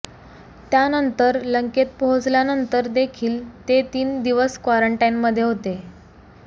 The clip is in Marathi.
त्यानंतर लंकेत पोहोचल्यानंतर देखील ते तीन दिवस क्वारंटाइनमध्ये होते